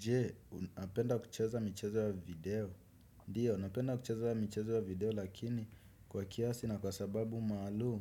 Je, unapenda kucheza michezo ya video. Dio, napenda kucheza michezo ya video lakini kwa kiasi na kwa sababu maalum.